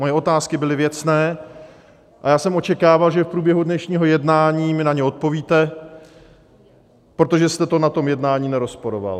Moje otázky byly věcné a já jsem očekával, že v průběhu dnešního jednání mi na to odpovíte, protože jste to na tom jednání nerozporovat.